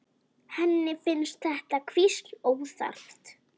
Henni finnst þetta hvísl óþarft.